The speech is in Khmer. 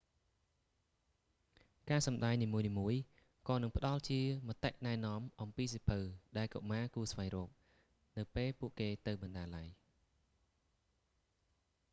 ការសម្តែងនីមួយៗក៏នឹងផ្តល់ជាមតិណែនាំអំពីសៀវភៅ ដែលកុមារគួរស្វែងរក នៅពេលពួកគេទៅបណ្ណាល័យ